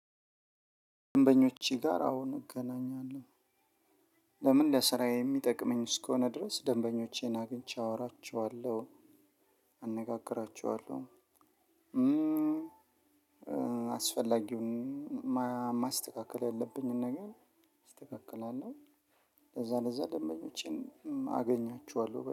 ደንበኞቼ ጋር አዎን እገናኛለሁ። ለምን ለስራዬ እሚጠቅመኝ እስከሆነ ድረስ ደንበኞቼን አግኝቼ አወራቸዋለሁ አነጋግራቸዋለሁ። አስፈላጊውን ማስተካከል ያለብንን እናስተካክላለን። ለዛ ለዛ ደንበኞቼን አገኛቸዋለሁ